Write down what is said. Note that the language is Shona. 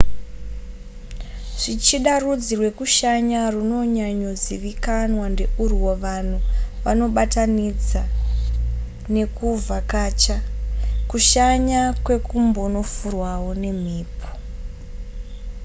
zvichida rudzi rwekushanya rwunonyanyozivikanwa ndeurwo vanhu vanobatanidza nekuvhakacha kushanya kwekumbonofurwawo nemhepo